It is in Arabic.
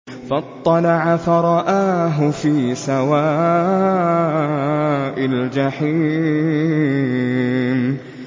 فَاطَّلَعَ فَرَآهُ فِي سَوَاءِ الْجَحِيمِ